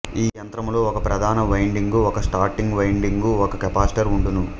ఈ యంత్రములో ఒక ప్రధాన వైండింగు ఒక స్టార్టింగు వైండింగు ఒక కెపాసిటర్ ఉండును